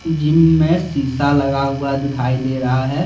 Gym में शीशा लगा हुआ दिखाई दे रहा है।